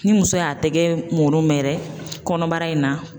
Ni muso y'a tɛgɛ mɔn mɛ yɛrɛ kɔnɔbara in na.